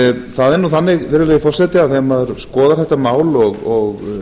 það er nú þannig virðulegi forseti að þegar maður skoðar þetta mál og